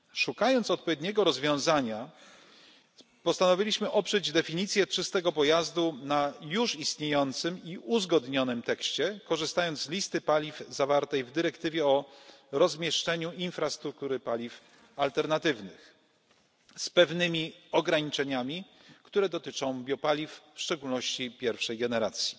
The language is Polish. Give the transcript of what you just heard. Szukając odpowiedniego rozwiązania, postanowiliśmy oprzeć definicję czystego pojazdu na już istniejącym i uzgodnionym tekście, korzystając z listy paliw zawartej w dyrektywie o rozmieszczeniu infrastruktury paliw alternatywnych, z pewnymi ograniczeniami, które dotyczą biopaliw, w szczególności pierwszej generacji.